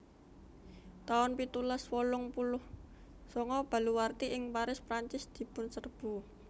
taun pitulas wolung puluh sanga Baluwarti ing Paris Prancis dipunserbu